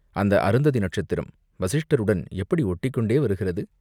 அந்த அருந்ததி நட்சத்திரம் வசிஷ்டருடன் எப்படி ஓட்டிக் கொண்டே வருகிறது!